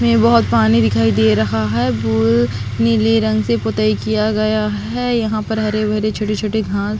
में बहोत पानी दिखाई दे रहा है वो नीले रंग से पोतई किया गया है यहाँ पर हरे-भरे छोटे-छोटे घाँस--